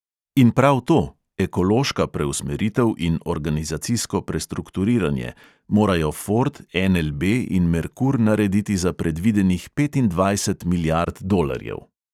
In prav to (ekološka preusmeritev in organizacijsko prestrukturiranje) morajo ford, NLB in merkur narediti za predvidenih petindvajset milijard dolarjev.